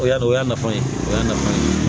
O y'a dɔn o y'a nafa ye o y'a nafa ye